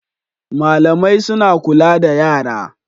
Malamai suna kula da yara